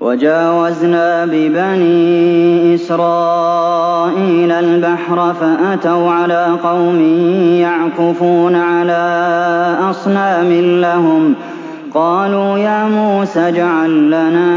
وَجَاوَزْنَا بِبَنِي إِسْرَائِيلَ الْبَحْرَ فَأَتَوْا عَلَىٰ قَوْمٍ يَعْكُفُونَ عَلَىٰ أَصْنَامٍ لَّهُمْ ۚ قَالُوا يَا مُوسَى اجْعَل لَّنَا